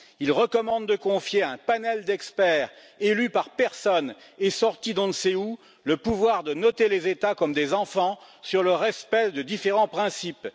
Il recommande de confier à un panel d'experts, élus par personne et sortis d'on ne sait où, le pouvoir de noter les États comme des enfants sur le respect de différents principes.